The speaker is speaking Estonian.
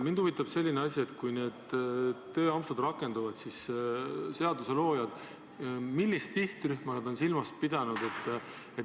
Mind huvitab selline asi, et kui need tööampsud rakenduvad, siis millist sihtrühma on seaduseloojad silmas pidanud.